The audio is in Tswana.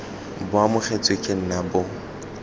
bo amogetswe ke nna bo